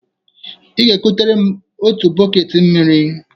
Ị ga-ekutere m otu bọket mmiri.